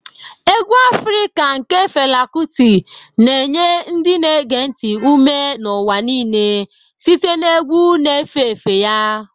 Egwu Afrika nke Fela Kuti' na-enye ndị na-ege ntị ume n'ụwa niile site na egwu na-efe efe ya.